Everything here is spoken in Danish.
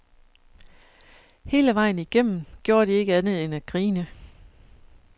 Hele vejen igennem gjorde de ikke andet end at grine.